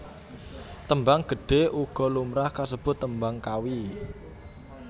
Tembang Gedhe uga lumrah kasebut Tembang Kawi